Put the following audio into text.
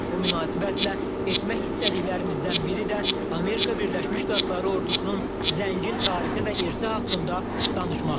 Bu münasibətlə etmək istədiklərimizdən biri də Amerika Birləşmiş Ştatları ordusunun zəngin tarixi və irsi haqqında danışmaqdır.